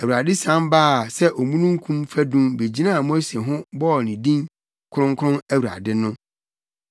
Awurade sian baa sɛ omununkum fadum begyinaa Mose ho bɔɔ ne din kronkron Awurade no.